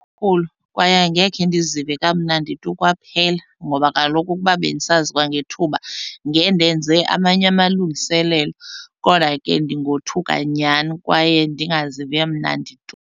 kwaye angekhe ndizive kamnandi tu kwaphela ngoba kaloku ukuba bendisazi kwangethuba ngendenze amanye amalungiselelo. Kodwa ke ndingothuka nyhani kwaye ndingazivi kamnandi tu.